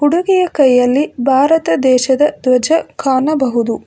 ಹುಡುಗಿಯ ಕೈಯಲ್ಲಿ ಭಾರತ ದೇಶದ ಧ್ವಜ ಕಾಣಬಹುದು.